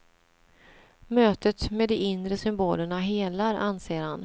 Mötet med de inre symbolerna helar, anser han.